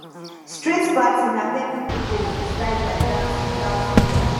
street party na where people go freestyle their dance without fear